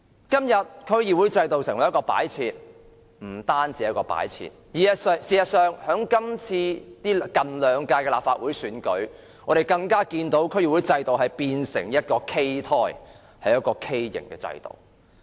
今天，區議會制度成為擺設，不單是擺設，事實上，在近兩屆立法會選舉，我們更看到區議會制度已變成畸胎，是一個畸形的制度。